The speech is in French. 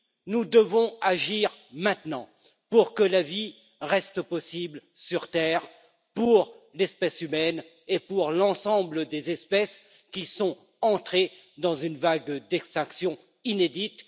Nous devons donc agir maintenant pour que la vie reste possible sur Terre, pour l'espèce humaine et pour l'ensemble des espèces qui sont entrées dans une vague d'extinction inédite.